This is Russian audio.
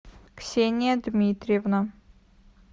ксения дмитриевна